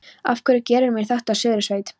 Af hverju gerirðu mér þetta, Suðursveit!